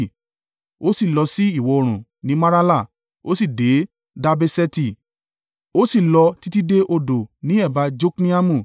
Ó sì lọ sí ìwọ̀-oòrùn ní Marala, ó sì dé Dabbeṣeti, ó sì lọ títí dé odo ní ẹ̀bá Jokneamu.